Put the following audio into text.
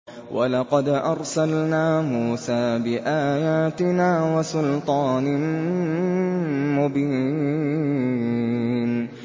وَلَقَدْ أَرْسَلْنَا مُوسَىٰ بِآيَاتِنَا وَسُلْطَانٍ مُّبِينٍ